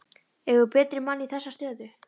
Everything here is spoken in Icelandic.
Eigum við betri mann í þessa stöðu?